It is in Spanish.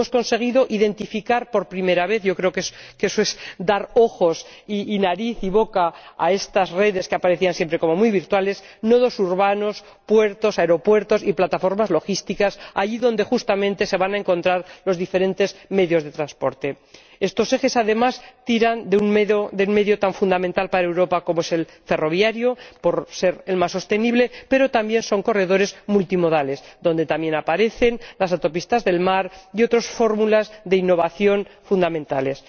Hemos conseguido identificar por primera vez —yo creo que eso es dar ojos, nariz y boca a estas redes que aparecían siempre como muy virtuales— nudos urbanos, puertos, aeropuertos y plataformas logísticas, allí donde justamente se van a encontrar los diferentes medios de transporte. Estos ejes, además, fomentan un medio de transporte tan fundamental para Europa como es el ferroviario —por ser el más sostenible—, pero también son corredores multimodales, donde asimismo aparecen las autopistas del mar y otras fórmulas de innovación fundamentales.